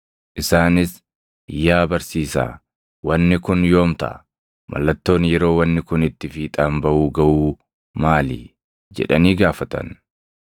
Isaanis, “Yaa barsiisaa, wanni kun yoom taʼa? Mallattoon yeroo wanni kun itti fiixaan baʼuu gaʼuu maali?” jedhanii gaafatan.